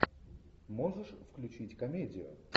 можешь включить комедию